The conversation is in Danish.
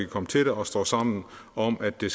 komme til det og står sammen om at det